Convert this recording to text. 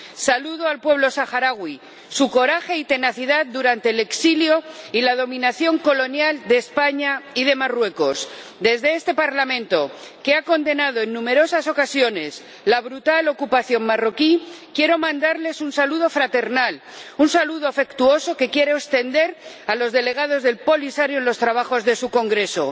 Saludo al pueblo saharaui, su coraje y tenacidad durante el exilio y la dominación colonial de España y de Marruecos. Desde este Parlamento, que ha condenado en numerosas ocasiones la brutal ocupación marroquí, quiero mandarles un saludo fraternal, un saludo afectuoso que quiero extender a los delegados del Polisario en los trabajos de su congreso.